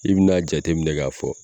I bi n'a jate minɛ k'a fɔ